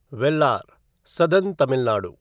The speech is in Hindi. वेलार साउथर्न तमिल नाडु